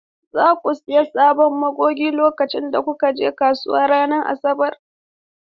Za ku sayi sabon magogi lokacin da kuka je kasuwa ranar Asabar?